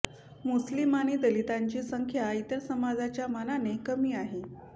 मुस्लिम आणि दलितांची संख्या इतर समाजाच्या मानाने कमी आहे